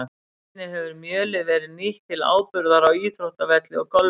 Einnig hefur mjölið verið nýtt til áburðar á íþróttavelli og golfvelli.